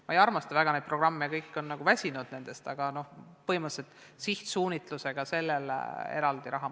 Ma ei armasta väga neid programme, kõik on nendest väsinud, aga põhimõtteliselt peaks sihtotstarbeliselt sellele raha eraldama.